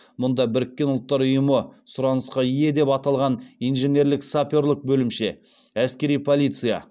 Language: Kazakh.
мұнда біріккен ұлттар ұйымы сұранысқа ие деп аталған инженерлік саперлік бөлімше әскери полиция